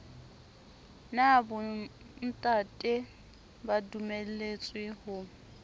na bontate ba dumelletswe ho